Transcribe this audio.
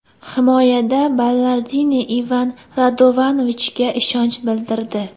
Himoyada Ballardini Ivan Radovanovichga ishonch bildirdi.